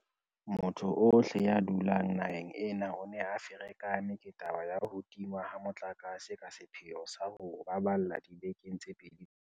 Motho ohle ya dulang naheng ena o ne a ferekane ke taba ya ho tingwa ha motlakase ka sepheo sa ho o baballa dibekeng tse pedi tse fetileng.